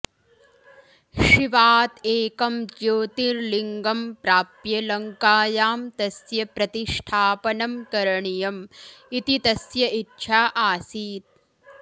शिवात् एकं ज्योतिर्लिङ्गं प्राप्य लङ्कायां तस्य प्रतिष्ठापनं करणीयम् इति तस्य इच्छा आसीत्